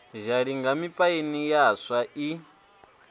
zhalinga mipaini ya swa i